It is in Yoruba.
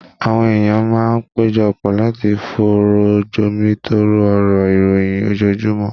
Àwọn èèyàn máa ń péjọ pọ̀ láti fọ̀rọ̀ jomitooro ọ̀rọ̀ ìròyìn ojoojúmọ́